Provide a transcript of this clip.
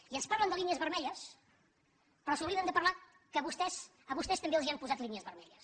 i ens parlen de línies vermelles però s’obliden de parlar que a vostès també els han posat línies vermelles